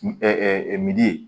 min ye